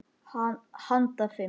Handa fimm